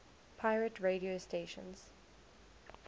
pirate radio stations